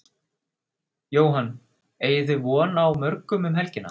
Jóhann: Eigið þið vona á mörgum um helgina?